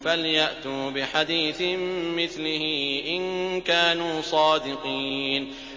فَلْيَأْتُوا بِحَدِيثٍ مِّثْلِهِ إِن كَانُوا صَادِقِينَ